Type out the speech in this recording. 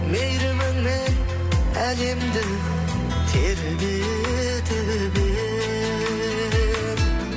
мейіріміңмен әлемді тербетіп ең